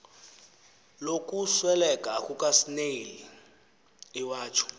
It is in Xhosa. lokusweleka kukasnail iwatsho